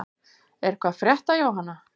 Er eitthvað að frétta Jóhanna?